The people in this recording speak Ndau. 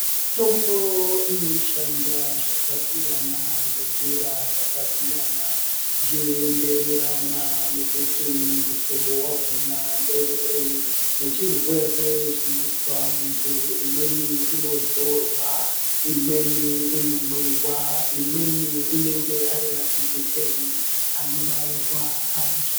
Mitombo inoshanda zvakasiyana nenjira dzakasiyana zveyienderana nekuti muhlobo wakona ngeuri ngechirwere chinozwa muntu. Imweni inozorwa, imweni inomwiwa, imweni inenge ari majekiseni anobairwa antu.